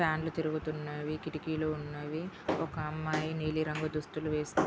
ఫ్యాన్లు తిరుగుతున్నాయి. కిటికీలు ఉన్నాయి. ఒక అమ్మాయి నీలి రంగు దుస్తులు వేసుకొని--